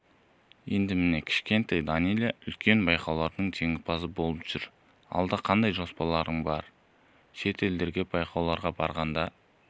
енді міне кішкентай данэлия үлкен байқаулардың жеңімпазы болып жүр алда қандай жоспарларың бар шетелдерге байқауларға барғанда